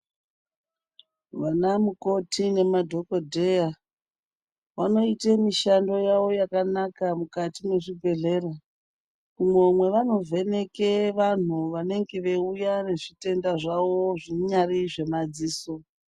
Vanamukoti nemadhogodheya vanoite mishando yavo yakanaka mukati mwezvibhehlera. Umwo mwevanovheneke vantu vanenge veiuya nezvitenda zvavo zviyari zvemadziso.